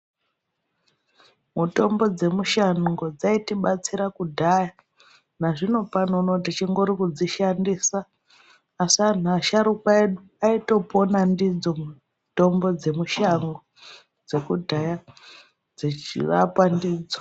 Mutombo dzemushango dzaitibatsira kudhaya nazvino pano unowu tichingori kudzishandisa asi anhu asharukwa edu aitopona ndidzo mutombo dzemushango dzekudhaya dzechirapa ndidzo.